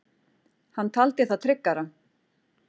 Hann taldi það tryggara.